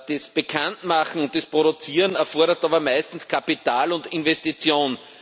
Das Bekanntmachen, das Produzieren erfordert aber meistens Kapital und Investitionen.